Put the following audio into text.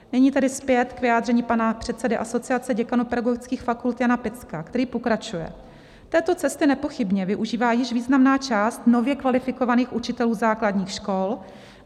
Nyní tedy zpět k vyjádření pana předsedy Asociace děkanů pedagogických fakult Jana Picka, který pokračuje: Této cesty nepochybně využívá již významná část nově kvalifikovaných učitelů základních škol.